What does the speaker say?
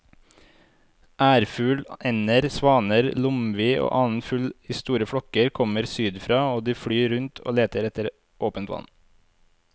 Ærfugl, ender, svaner, lomvi og annen fugl i store flokker kommer sydfra og de flyr rundt og leter etter åpent vann.